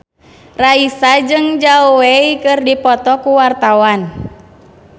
Raisa jeung Zhao Wei keur dipoto ku wartawan